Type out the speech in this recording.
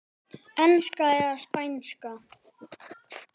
Enska eða Spænska?